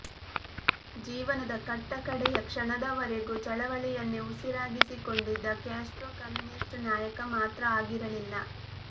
ಜೀವನದ ಕಟ್ಟಕಡೆಯ ಕ್ಷಣದವರೆಗೂ ಚಳವಳಿಯನ್ನೇ ಉಸಿರಾಗಿಸಿಕೊಂಡಿದ್ದ ಕ್ಯಾಸ್ಟ್ರೊ ಕಮ್ಯುನಿಸ್ಟ್ ನಾಯಕ ಮಾತ್ರ ಆಗಿರಲಿಲ್ಲ